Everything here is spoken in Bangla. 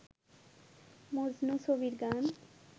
মজনু ছবির গান